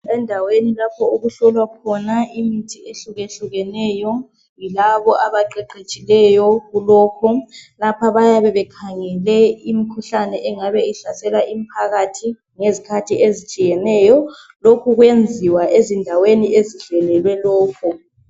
Endaweni lapho okuhlolwa khona imithi ehlukeneyo, yilabo abaqeqetshileyo ku lokhu, lapha bayabe bekhangele imkhuhlane, engabe ihlasela umphakathi ngezikhathi ezitshiyeneyo, lokhu kuyenziwa ezindaweni ezihlelelwe lokhu.